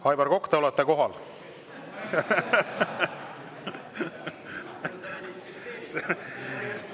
Aivar Kokk, te olete kohal.